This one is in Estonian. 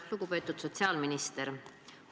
Lugupeetud sotsiaalminister!